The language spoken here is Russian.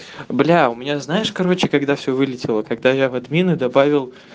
бля у меня знаешь короче когда всё вылетело когда я в админы добавил